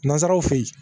Nanzaraw fe yen